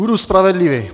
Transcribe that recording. Budu spravedlivý.